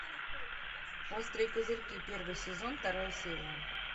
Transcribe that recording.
острые козырьки первый сезон вторая серия